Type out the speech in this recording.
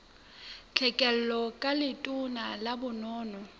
tlhekelo ka letona la bonono